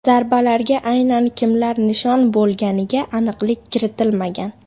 Zarbalarga aynan kimlar nishon bo‘lganiga aniqlik kiritilmagan.